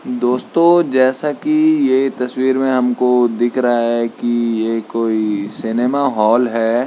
दोस्तों जैसा की ये तस्वीर में हमको दिख रहा है की ये कोई सिनेमा हॉल है।